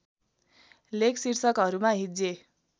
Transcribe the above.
लेख शीर्षकहरूमा हिज्जे